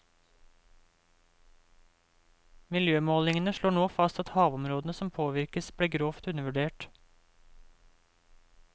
Miljømålingene slår nå fast at havområdene som påvirkes, ble grovt undervurdert.